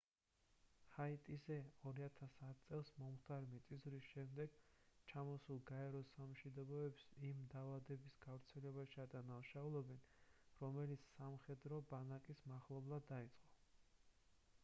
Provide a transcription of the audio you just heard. ჰაიტიზე 2010 წელს მომხდარი მიწისძვრის შემდეგ ჩამოსულ გაეროს სამშვიდობოებს იმ დაავადების გავრცელებაში ადანაშაულებენ რომელიც სამხედრო ბანაკის მახლობლად დაიწყო